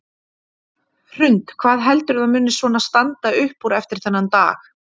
Hrund: Hvað heldurðu að muni svona standa upp úr eftir þennan dag?